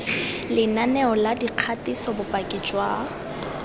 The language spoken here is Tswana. lenaneo la dikgatiso bopaki jwa